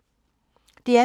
DR P2